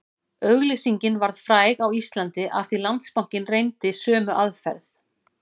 Auglýsingin varð fræg á Íslandi af því Landsbankinn reyndi sömu aðferð